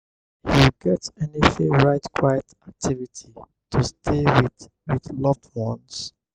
you get any favorite quiet activity to stay with with loved ones?